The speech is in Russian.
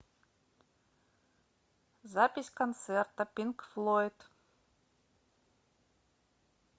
запись концерта пинк флойд